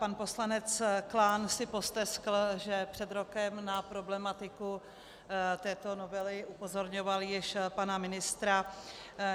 Pan poslanec Klán si posteskl, že před rokem na problematiku této novely upozorňoval již pana ministra.